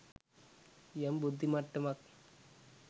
යම් බුද්ධි මට්ටමක්